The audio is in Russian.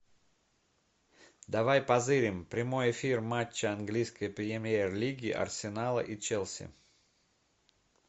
давай позырим прямой эфир матча английской премьер лиги арсенала и челси